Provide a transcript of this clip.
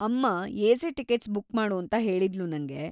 ಅಮ್ಮ AC. Tickets book ಮಾಡು ಅಂತ ಹೇಳಿದ್ಳು ನಂಗೆ.